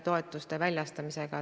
Aga paluks siis tõesti protseduurilist!